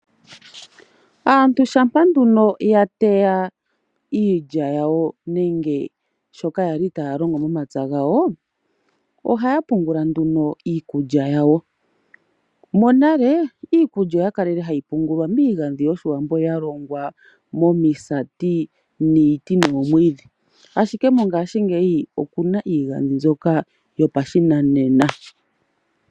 Aantu shampa nduno ya teya iilya yawo nenge shoka yali taya longo momapya gawo, ohaya pungula nduno iikulya yawo. Monale iikulya oya kalele hayi pungulwa miigandhi yoshiwambo ya longwa mo misati niiti noomwiidhi. Ashike mongashingeyi okuna iigandhi mbyoka yo pashinanena.